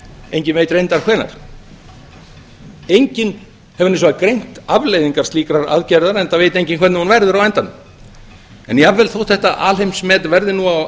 enginn veit reyndar hvenær enginn hefur hins vegar greint afleiðingar slíkrar aðgerðar enda veit enginn hvernig hún verður á endanum en jafnvel þótt þetta alheimsmet verði nú á